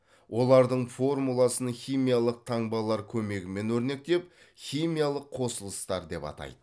олардың формуласын химиялық таңбалар көмегімен өрнектеп химиялық қосылыстар деп атайды